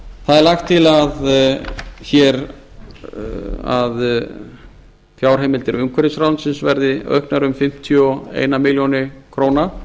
það er lagt til að fjárheimildir umhverfisráðuneytisins verði auknar um fimmtíu og eina milljón króna